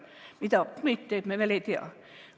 Mida COVID teeb, me veel ei tea.